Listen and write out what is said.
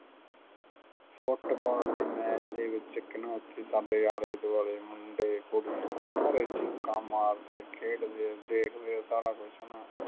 football ਦੇ match ਦੇ ਵਿੱਚ ਇੱਕ ਨਾ ਉੱਥੇ ਸਾਡੇ ਆਲੇ ਦੁਆਲੇ ਮੁੰਡੇ ਕੁੜੀਆਂ ਸਾਰੇ ਚੀਕਾਂ ਮਾਰਦੇ ਖੇਡਦੇ ਦੇਖਦੇ ਸਾਰਾ ਕੁੱਝ ਹੈ ਨਾ